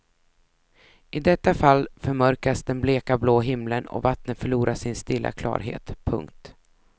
I detta fall förmörkas den bleka blå himlen och vattnet förlorar sin stilla klarhet. punkt